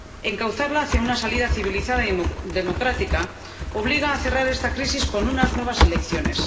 Encauzarla hacia una salida civilizada y democrática obliga a cerrar esta crisis con unas nuevas elecciones.